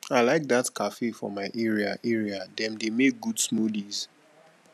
i like dat cafe for my area area dem dey make good smoothies